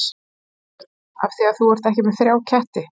Þorbjörn: Af því að þú ert með þrjá ketti?